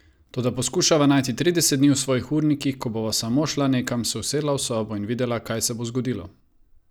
Toda poskušava najti trideset dni v svojih urnikih, ko bova samo šla nekam, se usedla v sobo in videla, kaj se bo zgodilo.